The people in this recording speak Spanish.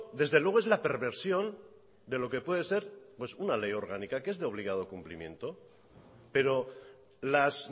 desde luego es la perversión de lo que puede ser pues una ley orgánica que es de obligado cumplimiento pero las